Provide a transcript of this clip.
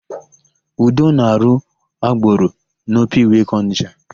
Udo na-arụ agboro n'Ọpa Iweka Ọnịsha.